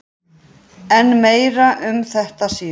En meira um þetta síðar.